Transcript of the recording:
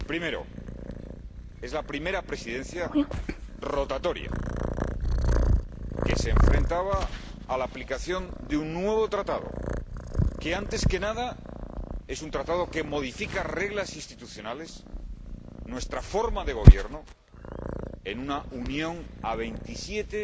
Primero, es la primera Presidencia rotatoria que se enfrentaba a la aplicación de un nuevo Tratado que, antes que nada, es un Tratado que modifica reglas institucionales, nuestra forma de gobierno, en una Unión de 27,